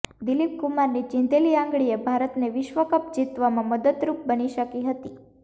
દિલીપ કુમારની ચિંધેલી આંગળી એ ભારતને વિશ્વકપ જીતવામાં મદદરુપ બની શકી હતી